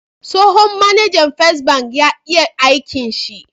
Tsohon mAnajan first ban ya iya aikin shi